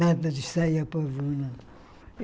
Nada de sair a pavuna.